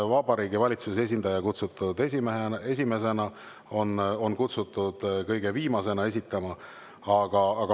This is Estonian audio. Vabariigi Valitsuse esindaja on kutsutud esitama esimesena, on kutsutud kõige viimasena.